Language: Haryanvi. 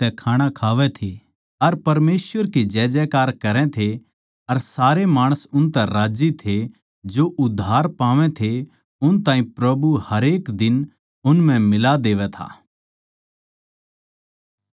अर परमेसवर की जयजयकार करै थे अर सारे माणस उनतै राज्जी थे जो उद्धार पावैं थे उन ताहीं प्रभु हरेक दिन उन म्ह मिला देवै था